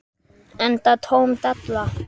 Enda tóm della.